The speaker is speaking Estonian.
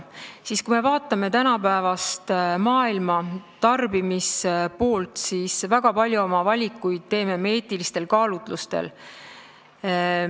Vaatame tarbimist tänapäeva maailmas: väga palju valikuid teeme me eetilistel kaalutlustel.